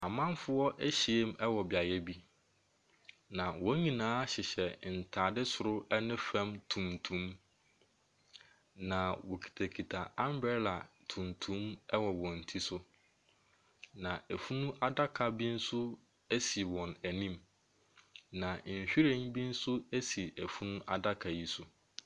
Amanfoɔ ahyiam wɔ beaeɛ bi, na wɔn nyinaa hyehyɛ ntade soro ne fam tuntum, na wɔkitakita umbrella tuntum wɔ wɔn ti so, na funu adaka bi nso si wɔn anim, na nhwiren bi nso si funu adaka yi so.